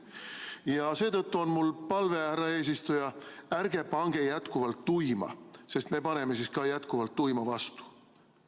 Ja seetõttu on mul palve: härra eesistuja, ärge pange jätkuvalt tuima, sest me paneme siis ka jätkuvalt tuima vastu!